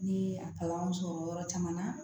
Ne ye a kalan sɔrɔ yɔrɔ caman na